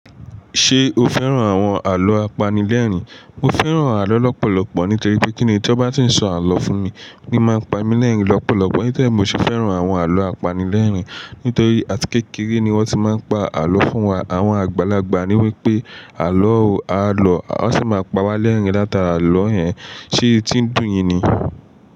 Ṣé o fẹ́ràn àwọn àlọ́ apanilẹ́rìn? Mo fẹ́ràn àlọ́ lọ́pọ̀lọpọ̀ nítorí pé kíni tí ọ bá tí ń sọ àlọ́ fún mi, ní máa ń pa mí lẹ́rìn-ín lọ́pọ̀lọpọ̀. Nítòrí ẹ mo se fẹ́ràn àwọn àlọ́ apanilẹ́rìn nítorí àti kékeré ni wọ́n ti máa ń pa àlọ́ fún wa. Àwọn àgbàlagbà ní wípé àlọ́ o, àlọ́ a sì máa pa wá lẹ́rìn-ín látara àlọ́ yẹn. Ṣé etí ń dùn yín ni?